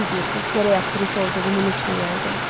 Düz deyirsiz, gərək aktrisa olduğumu unutmayaydım.